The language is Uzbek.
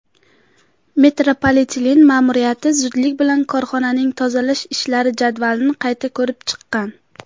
metropoliten ma’muriyati zudlik bilan korxonaning tozalash ishlari jadvalini qayta ko‘rib chiqqan.